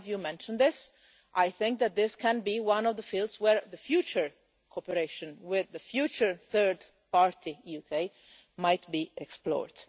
Some of you mentioned, I think, that this can be one of the fields in which future cooperation with the future third party UK might be explored.